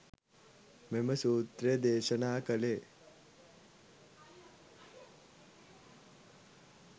මෙම සූත්‍රය දේශනා කළේ